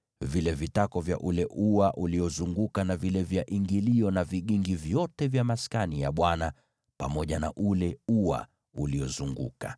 vile vitako vya ule ua uliozunguka na vile vya ingilio, na vigingi vyote vya Maskani pamoja na ule ua uliozunguka.